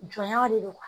Jɔnya de don wa